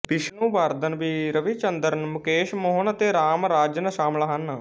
ਵਿਸ਼ਨੁਵਰਧਨ ਵੀ ਰਵੀਚੰਦਰਨ ਮੁਕੇਸ਼ ਮੋਹਨ ਅਤੇ ਰਾਮਾਰਾਜਨ ਸ਼ਾਮਲ ਸਨ